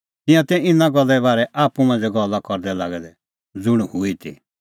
तिंयां तै इना गल्ले बारै आप्पू मांझ़ै गल्ला करदै लागै दै ज़ुंण हूई ती